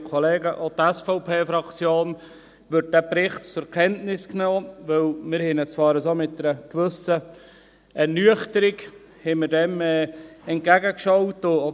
Auch die SVP-Fraktion nimmt den Bericht zur Kenntnis, obwohl wir diesem zwar mit einer gewissen Ernüchterung entgegengeschaut haben.